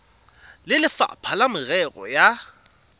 le lefapha la merero ya